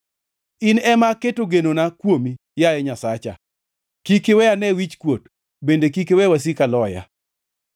In ema aketo genona kuomi, yaye Nyasacha. Kik iwe ane wichkuot, bende kik iwe wasika loya.